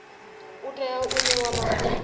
u tea u ṋewa mafhungo